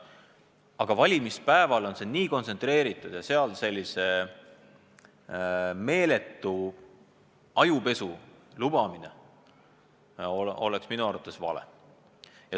Aga valimispäeval on see nii kontsentreeritud ja seal sellise meeletu ajupesu lubamine oleks minu arvates vale.